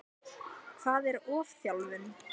Hvað er ofþjálfun?